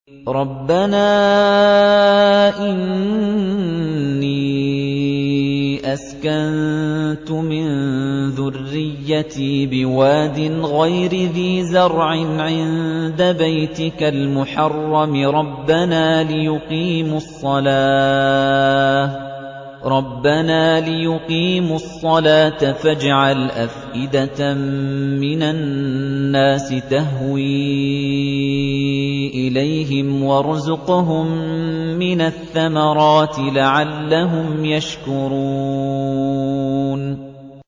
رَّبَّنَا إِنِّي أَسْكَنتُ مِن ذُرِّيَّتِي بِوَادٍ غَيْرِ ذِي زَرْعٍ عِندَ بَيْتِكَ الْمُحَرَّمِ رَبَّنَا لِيُقِيمُوا الصَّلَاةَ فَاجْعَلْ أَفْئِدَةً مِّنَ النَّاسِ تَهْوِي إِلَيْهِمْ وَارْزُقْهُم مِّنَ الثَّمَرَاتِ لَعَلَّهُمْ يَشْكُرُونَ